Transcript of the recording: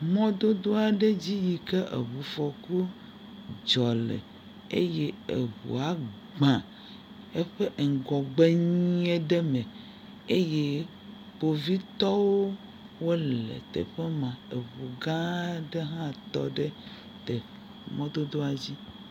Mɔdodo aɖe dzi yi ke eŋufɔku dzɔ le eye eŋua gbãã eye eƒe ŋgɔgbe ŋe ɖe me. eye Kpovitɔwo wole teƒe ma. Eŋugã aɖe hã tɔ ɖe teƒ, mɔdodoa dzi.